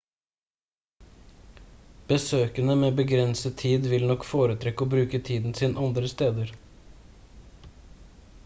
besøkende med begrenset tid vil nok foretrekke å bruke tiden sin andre steder